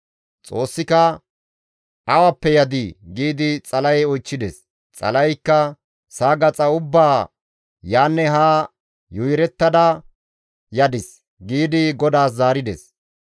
Xoossika, «Awappe yadii?» giidi Xala7e oychchides. Xala7eykka, «Sa7a gaxa ubbaa yaanne haa yuuyerettada yadis» giidi GODAAS zaarides.